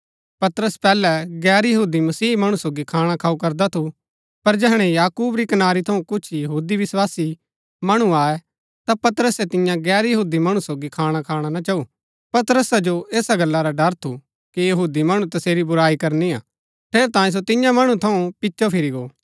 पतरस पैहलै गैर यहूदी मसीह मणु सोगी खाणा खाऊँ करदा थू पर जैहणै याकूब री कनारी थऊँ कुछ यहूदी विस्वासी मणु आये ता पतरसै तिन्या गैर यहूदी मणु सोगी खाण खाणा ना चाऊ पतरसा जो ऐसा गल्ला रा डर थू कि यहूदी मणु तसेरी बुराई करनी हा ठेरैतांये सो तिन्या मणु थऊँ पिचो फिरी गो